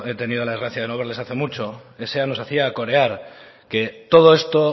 tenido la desgracia de no verles hace mucho sa nos hacía corear que todo esto